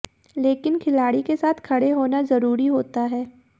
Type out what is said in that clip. लेकिन खिलाड़ी के साथ खड़े होना जरूरी होता है